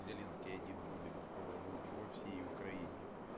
зеленский один будет в украине